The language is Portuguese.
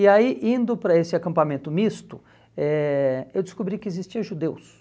E aí, indo para esse acampamento misto, eh eu descobri que existia judeus.